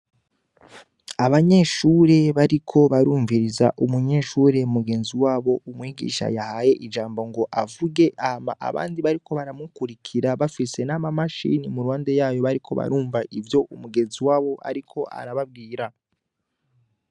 Abanyeshure bariko barumviriza umunyeshure mugenzi wabo, umwigisha yahaye ijambo ngo avuge. Hama abandi bariko baramukurikira, bafise na ma machine mu ruhande yayo, bariko barumva ivyo mugenzi wabo ariko arabambwira.